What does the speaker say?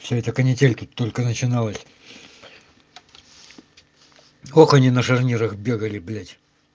вся эта канитель как только начиналась в коконе на шарнирах бегали блядь